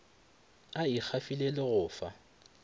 a ikgafile le go fa